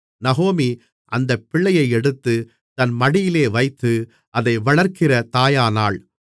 நகோமி அந்தப் பிள்ளையை எடுத்து தன் மடியிலே வைத்து அதை வளர்க்கிற தாயானாள்